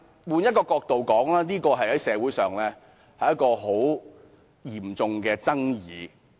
換一個角度看，這方案在社會引起嚴重爭議。